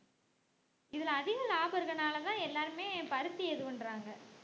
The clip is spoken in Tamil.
இதுல அதிக லாபம் இருக்கிறனாலதான் எல்லாருமே பருத்திய இது பண்றாங்க